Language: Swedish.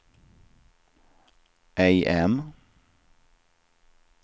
AM